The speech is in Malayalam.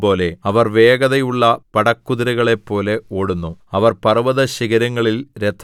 അവരുടെ രൂപം കുതിരകളുടെ രൂപംപോലെ അവർ വേഗതയുള്ള പടക്കുതിരകളെപ്പോലെ ഓടുന്നു